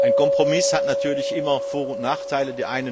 Ein Kompromiss hat natürlich immer Vor und Nachteile.